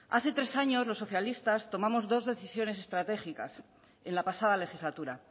hace tres años los socialistas tomamos dos decisiones estratégicas en la pasada legislatura